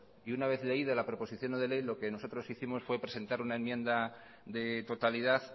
y una vez leída la proposición no de ley lo que nosotros hicimos fue presentar una enmienda de totalidad